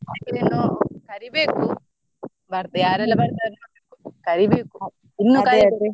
ಇನ್ನು ಕರಿಬೇಕು ಬ~ ಯಾರೆಲ್ಲ ಬರ್ತಾರೆ ನೋಡ್ಬೇಕು ಕರಿಬೇಕು ಇನ್ನು ಕರಿಬೇಕು.